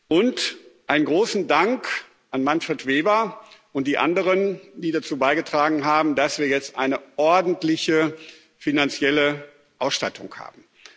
Und einen großen Dank an Manfred Weber und die anderen, die dazu beigetragen haben, dass wir jetzt eine ordentliche finanzielle Ausstattung haben.